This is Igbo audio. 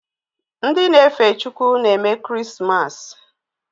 Ndị na-efe Chukwu na-eme kirismasi